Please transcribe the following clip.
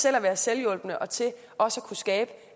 at være selvhjulpne og til også at kunne skabe